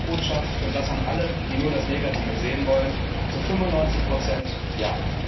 Die Hauptbotschaft und das an alle, die nur das Negative sehen wollen zu 95 ja.